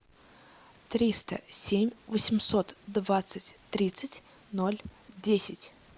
триста семь восемьсот двадцать тридцать ноль десять